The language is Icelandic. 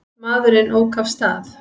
Maðurinn ók af stað.